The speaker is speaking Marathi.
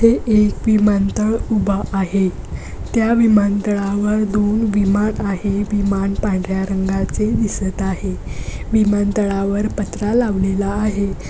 येथे एक विमानतळ उभा आहे. त्या विमानतळावर दोन विमान आहे. विमान पांढर्‍या रंगाचे दिसत आहे. विमानतळावर पत्रा लावलेला आहे.